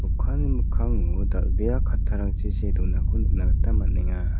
okanni mikkango dal·bea kattarangchi see donako nikna gita man·enga.